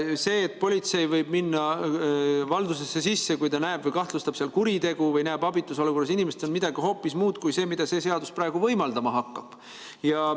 See, et politsei võib minna valdusesse sisse, kui ta näeb või kahtlustab seal kuritegu või näeb abitus olukorras inimest, on midagi hoopis muud kui see, mida see seadus praegu võimaldama hakkab.